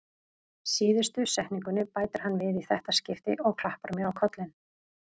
Síðustu setningunni bætir hann við í þetta skipti og klappar mér á kollinn.